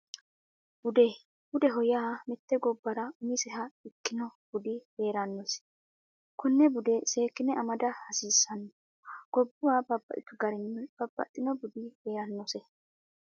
Bude budeho yaa mitte gobbara umiseha ikkino budi heerannosi konne bude seekkine amada hasiissanno gobbuwa babbaxxitu garinni babbaxxino budi heerannose